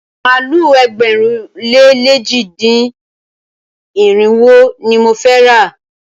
Màálu ẹgbẹ̀rún lé lèjì dín ní irinwó ni mo fẹ́ rà.